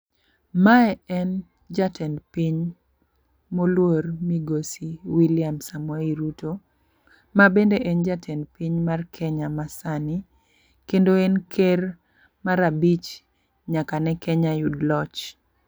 Mae en jatend piny moluor Migosi William Samoei Ruto. Ma bende en jatend piny mar Kenya ma sani. Kendo en ker mar abich nyaka ne Kenya yud loch.